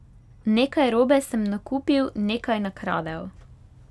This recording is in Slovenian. Nekaj robe sem nakupil, nekaj nakradel.